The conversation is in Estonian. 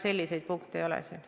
Selliseid punkte siin ei ole.